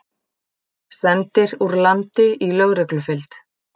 Sendir úr landi í lögreglufylgd